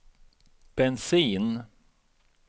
bensin